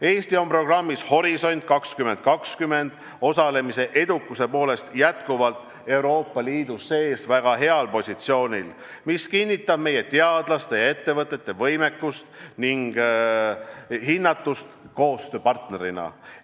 Eesti on programmis "Horisont 2020" osalemise edukuse poolest Euroopa Liidu sees jätkuvalt väga heal positsioonil, mis kinnitab meie teadlaste ja ettevõtete võimekust ning hinnatust koostööpartnerina.